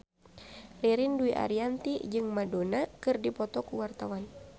Ririn Dwi Ariyanti jeung Madonna keur dipoto ku wartawan